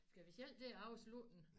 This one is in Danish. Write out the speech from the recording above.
Skal vi selv til at afslutte den